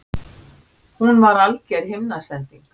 Hún var alger himnasending!